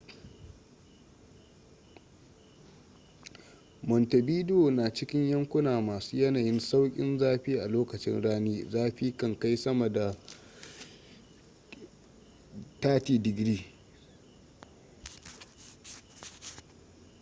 montevideo na cikin yankuna masu yanayin sauƙin zafi; a lokacin rani zafi kan kai sama da +30°c